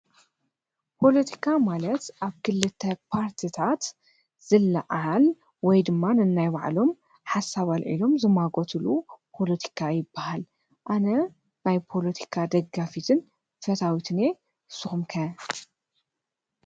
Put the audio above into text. ፖለቲካ ማለት ኣብ ክልተ ፓርቲታት ዝለዓል ወይ ድማ ነናይባዕሎም ሓሳብ ኣልዒሎም ዝማጐትሉ ፖለቲካ ይበሃል። ኣነ ናይ ፖለቲካ ደጋፊትን ፈታዊትን እየ ንስኩም ከ?